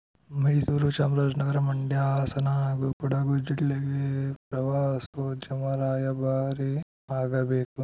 ಮೈಸೂರು ಚಾಮರಾಜನಗರ ಮಂಡ್ಯ ಹಾಸನ ಹಾಗೂ ಕೊಡಗು ಜಿಲ್ಲೆಗೆ ಪ್ರವಾಸೋದ್ಯಮ ರಾಯಭಾರಿ ಆಗಬೇಕು